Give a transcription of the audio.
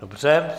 Dobře.